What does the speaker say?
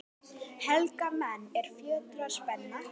Helga menn, er fjötrar spenna